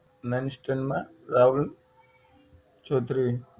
ninth stand માં રાહુલ ચૌધરી